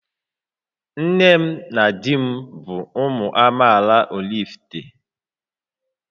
Nne m na di m bụ ụmụ amaala Oraifite